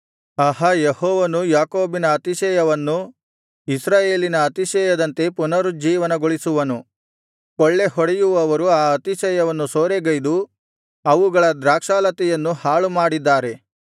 ಆಹಾ ಯೆಹೋವನು ಯಾಕೋಬಿನ ಅತಿಶಯವನ್ನು ಇಸ್ರಾಯೇಲಿನ ಅತಿಶಯದಂತೆ ಪುನರುಜ್ಜೀವನಗೋಳಿಸುವನು ಕೊಳ್ಳೆಹೊಡೆಯುವವರು ಆ ಅತಿಶಯವನ್ನು ಸೂರೆಗೈದು ಅವುಗಳ ದ್ರಾಕ್ಷಾಲತೆಗಳನ್ನು ಹಾಳುಮಾಡಿದ್ದಾರೆ